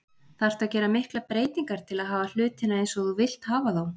Þarftu að gera miklar breytingar til að hafa hlutina eins og þú vilt hafa þá?